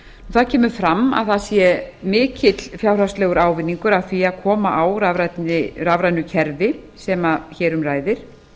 það kemur fram að það sé mikill fjárhagslegur ávinningur að því að koma á rafrænu kerfi sem hér um ræðir